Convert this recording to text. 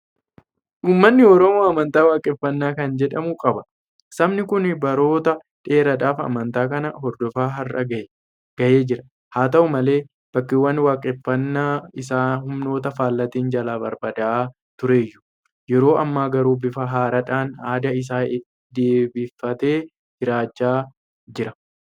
Uummanni Oromoo amantaa Waaqeffannaa kan jedhamu qaba. Sabni kun baroota dheeraadhaaf amantaa kana hordofaa har'a gahee jira. Haata'u malee bakkeewwan waaqeffannaa isaa humnoota faallaatiin jalaa barbadaa'aa turuyyuu; yeroo ammaa garuu bifa haaraadhaan aadaa isaa deebifatee jiraachaa jira.